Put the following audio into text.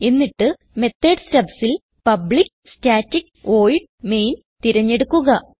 എന്നിട്ട് മെത്തോട് stubsൽ public static void main തിരഞ്ഞെടുക്കുക